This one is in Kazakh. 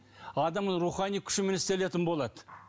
адамның рухани күшімен істелетін болады